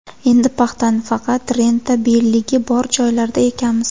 Endi paxtani faqat rentabelligi bor joylarda ekamiz.